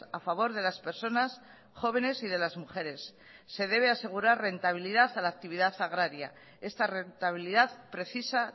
a favor de las personas jóvenes y de las mujeres se debe asegurar rentabilidad a la actividad agraria esta rentabilidad precisa